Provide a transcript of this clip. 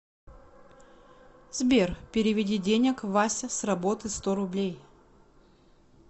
сбер переведи денег вася с работы сто рублей